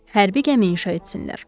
Hərbi gəmi inşa etsinlər.